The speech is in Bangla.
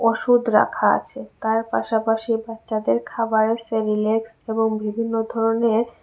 ওষুধ রাখা আছে তার পাশাপাশি বাচ্চাদের খাবার সেরিলেক্স এবং বিভিন্ন ধরনের।